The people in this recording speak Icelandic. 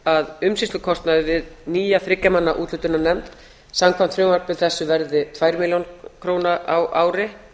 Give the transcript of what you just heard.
að umsýslukostnaður við nýja þriggja manna úthlutunarnefnd samkvæmt frumvarpi þessu verði um tvær milljónir króna á ári